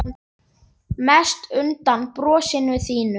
Mest undan brosinu þínu.